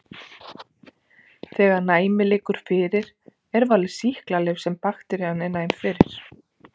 Þegar næmi liggur fyrir er valið sýklalyf sem bakterían er næm fyrir.